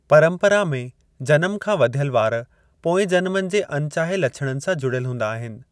परंपरा में, जनम खां वध्‍यल वार पोएं जनमनि जे अनचाहे लछणनि सां जुड्यल हूंदा आहिनि।